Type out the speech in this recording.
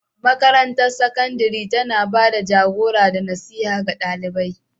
Makarantar sakandare tana ba da jagora da nasiha ga ɗalibai.